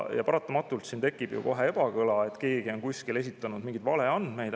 Paratamatult tekib ju kohe ebakõla, kui keegi on kuskil esitanud mingeid valeandmeid.